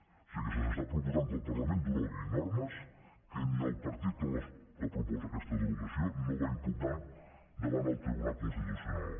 o sigui que se’ns està proposant que el parlament derogui normes que ni el partit que proposa aquesta dero ga ció no va impugnar davant el tribunal constitucional